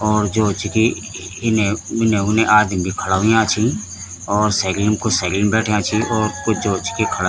और जो च की इने इने उने आदिम भी खड़ा हुयां छी और सेकिलिम कुछ सैकिलिम बैठ्याँ छी और कुछ जो च कि खड़ा --